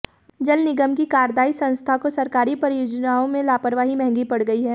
जल निगम की कार्यदायी संस्था को सरकारी परियोजनाओं में लापरवाही महंगी पड़ गई है